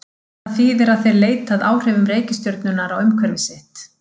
Það þýðir að þeir leita að áhrifum reikistjörnunnar á umhverfi sitt.